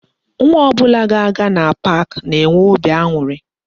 Nwa ọbụla ga-aga na park na-enwe óbị aṅụrị